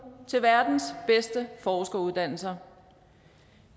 til verdens bedste forskeruddannelser